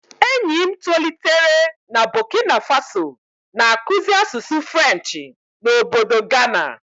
Enyi m tolitere na Bokina Faso, na-akụzi asụsụ Frenchị na ọbọdọ Gana.